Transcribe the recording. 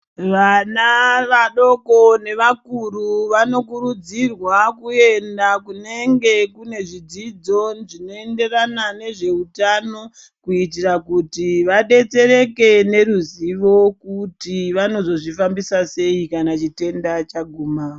Vana vadoko nevakuru vanokurudzirwa kuenda kunenge kune zvidzidzo zvinoenderana nezveutano, kuitira kuti vadetsereke nezivo kuti vanozozvifambisa sei kana chitenda chaguma.